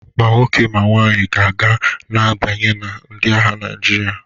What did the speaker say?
Ma nwoke ma nwaanyị ga na-abanye na ndi agha Naịjirịa.